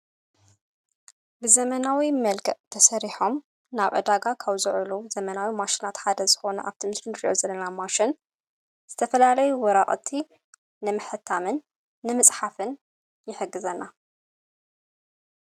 ብዘመናዊ መልክዕ ተሰሪሖም ናብ ዕዳጋ ኻውዝዕሉ ዘመናዊ ማሽናት ሓደ ዝኾነ ኣብተምስሉ ድዮ ዘነና ማሽን ዝተፈላለይ ወራቕቲ ንምሕታምን ንምጽሓፍን ይሕግዘና::